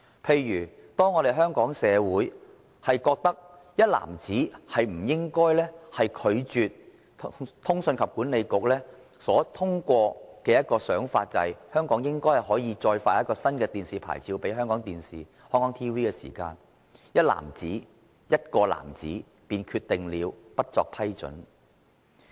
例如當香港社會均認為"一男子"不應拒絕通訊事務管理局的建議，指香港應該可以向香港電視網絡有限公司發出一個新的免費電視牌照，"一男子"——"一個男子"便決定不作批准。